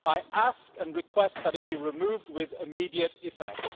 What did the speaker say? I request that it be removed with immediate effect.